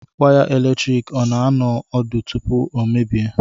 Waya eletrik ọ na-anọ ọdụ tupu o emebie?